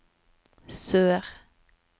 sør